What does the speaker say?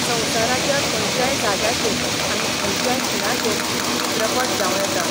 संसाराच्या खयच्याय जाग्याचेर आनी खयच्याय खिणाचेर चित्रपट जाव येता.